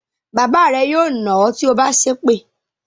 Bàbá rẹ yóò nà ọ́ tí o bá sépè.